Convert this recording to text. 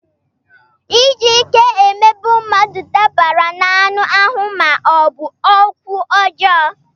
Iji ike emegbu mmadụ dabara n'anụ ahụ ma ọ bụ n'okwu ọjọọ.